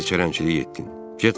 Bərk çərəngçilik etdin.